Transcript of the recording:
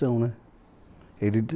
né. Ele